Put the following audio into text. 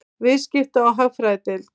Viðskipta- og hagfræðideild.